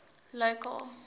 local